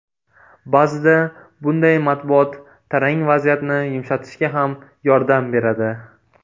Ba’zida bunday matbuot tarang vaziyatni yumshatishga ham yordam beradi.